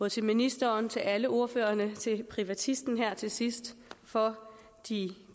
til ministeren til alle ordførerne og til privatisten her til sidst for de